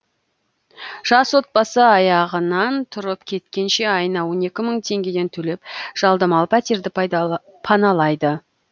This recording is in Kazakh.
жас отбасы аяғынан тұрып кеткенше айына он екі мың теңгеден төлеп жалдамалы пәтерді паналайды